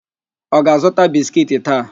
Ọ ga-azụta biskiiti taa?